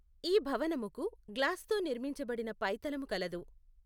ఈ భవనముకు గ్లాస్తో నిర్మించబడిన పైతలము కలదు.